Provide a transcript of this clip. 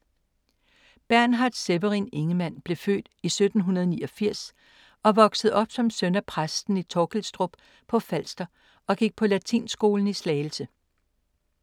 Bernhard Severin Ingemann blev født i 1789 og voksede op som søn af præsten i Torkilstrup på Falster og gik på latinskolen i Slagelse.